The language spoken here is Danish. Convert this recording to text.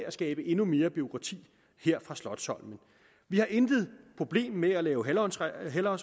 at skabe endnu mere bureaukrati her fra slotsholmen vi har intet problem med at lave halvårsregnskaber